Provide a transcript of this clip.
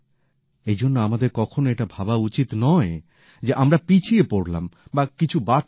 এই জন্য আমাদের কখনো এটা ভাবা উচিৎ নয় যে আমরা পিছিয়ে পড়লাম বা কিছু বাদ চলে গেল